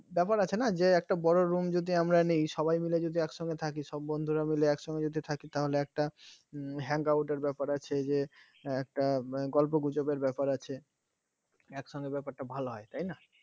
ব্যাপার আছে না যে একটা বড় room যদি আমরা নেই সবাই মিলে যদি একসঙ্গে থাকি সব বন্ধুরা মিলে একসঙ্গে থাকি তাহলে একটা hangout এর ব্যাপার আছে যে একটা গল্প গুজবের ব্যাপার আছে একসঙ্গে ব্যাপারটা ভাল হয় তাই না